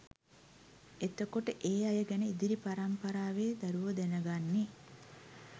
එතකොට ඒ අය ගැන ඉදිරි පරමිපරාවේ දරැවො දැනගන්නෙ